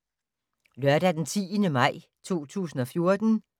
Lørdag d. 10. maj 2014